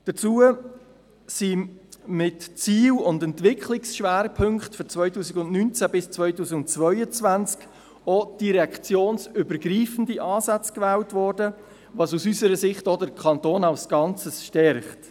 Dazu wurden mit Zielen und Entwicklungsschwerpunkten für die Jahre 2019–2022 auch direktionsübergreifende Ansätze gewählt, was aus unserer Sicht den Kanton als Ganzes stärkt.